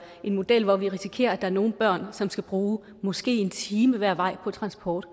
en model hvor vi risikerer at der er nogle børn som skal bruge måske en time hver vej på transport